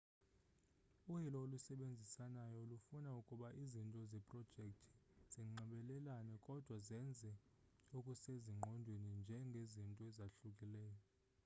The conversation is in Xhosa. uyilo olusebenzisanayo lufuna ukuba izinto zeprojekthi zinxibelelane kodwa zenze okusezingqondweni njengezinto ezahlukileyo